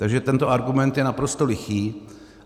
Takže tento argument je naprosto lichý.